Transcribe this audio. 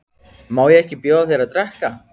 Má ekki bjóða þér að drekka?